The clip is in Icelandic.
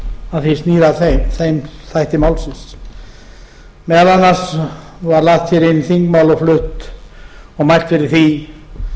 mál sem snúa að þeim þætti málsins meðal annars var lagt hér inn þingmál og flutt og mælt fyrir því